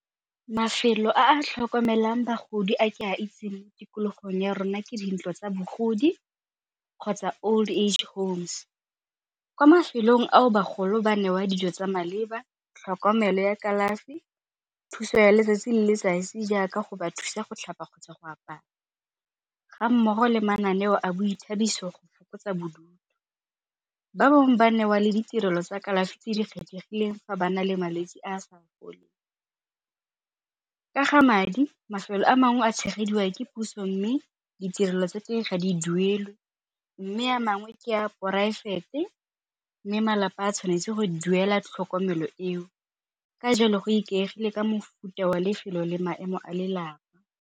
Mafelo a a tlhokomelang bagodi a ke a itseng mo tikologong ya rona ke dintlo tsa bogodi kgotsa old age homes. Kwa mafelong ao bagolo ba newa dijo tsa maleba, tlhokomelo ya kalafi, thuso ya letsatsi le letsatsi jaaka go ba thusa go tlhapa kgotsa go apara ga mmogo le mananeo a boithabiso go fokotsa bodutu. Ba bangwe ba newa le ditirelo tsa kalafi tse di kgethegileng fa ba na le malwetse a a sa foleng. Ka ga madi mafelo a mangwe a tshegediwa ke puso mme ditirelo tsa teng ga di duelwe mme a mangwe ke a poraefete mme malapa a tshwanetse go duela tlhokomelo eo. Ka jalo go ikaegile ka mofuta wa lefelo le maemo a lelapa.